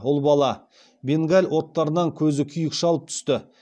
ұл бала бенгаль оттарынан көзі күйік шалып түсті